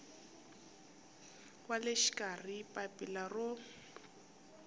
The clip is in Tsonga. wa le xikarhi papila ro